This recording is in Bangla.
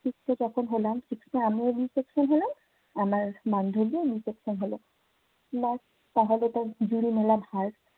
six এ যখন হলাম, six এ আমিও b section হলাম। আমার বান্ধবীও b section হলো। তাহলে তো জুড়ি মেলা ভার।